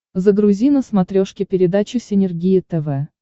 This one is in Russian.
загрузи на смотрешке передачу синергия тв